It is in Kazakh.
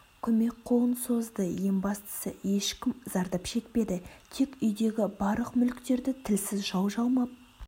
көмек қолын созды ең бастысы ешкім зардап шекпеді тек үйдегі барлық мүліктерді тілсіз жау жалмап